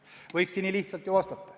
Võikski nii lihtsalt vastata.